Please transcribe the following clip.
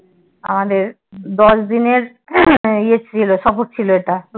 আমাদের দশ দিন এর সফর ছিল এটা